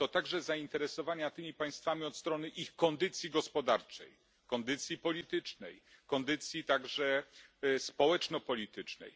To także zainteresowania tymi państwami od strony ich kondycji gospodarczej, kondycji politycznej, kondycji także społeczno politycznej.